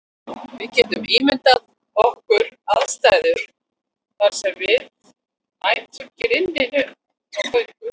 Við getum ímyndað okkar aðstæður þar sem við mætum grimmu villidýri á göngu okkar.